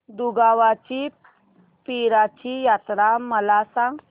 दुगावची पीराची यात्रा मला सांग